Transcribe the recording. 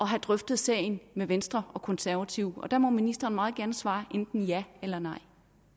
have drøftet sagen med venstre og konservative der må ministeren meget gerne svare enten ja eller nej